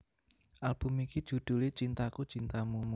Album iki judhulé Cintaku Cintamu